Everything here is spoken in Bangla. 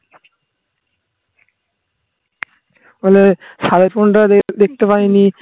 মানে সাড়ে phone টা দেখতে পাইনি